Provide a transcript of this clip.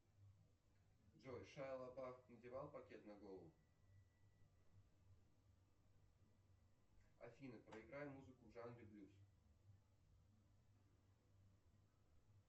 джой шайло бао надевал пакет на голову афина проиграй музыку в жанре блюз